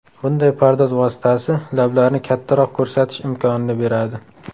Bunday pardoz vositasi lablarni kattaroq ko‘rsatish imkonini beradi.